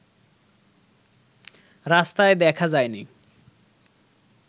রাস্তায় দেখা যায়নি